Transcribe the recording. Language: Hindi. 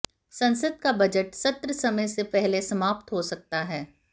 संसद का बजट सत्र समय से पहले समाप्त हो सकता है